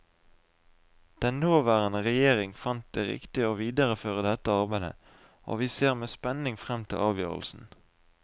Den nåværende regjering fant det riktig å videreføre dette arbeidet, og vi ser med spenning frem til avgjørelsen.